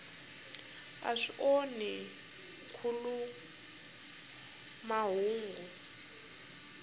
a swi onhi nkhuluk mahungu